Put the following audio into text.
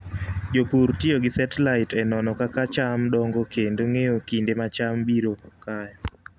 Jopur tiyo gi satellite e nono kaka cham dongo kendo ng'eyo kinde ma cham biro kayo.